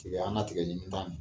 Tigɛ an ka tigɛ ɲimi ba ni